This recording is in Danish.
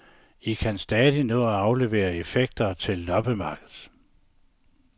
I kan stadig nå at aflevere effekter til loppemarkedet.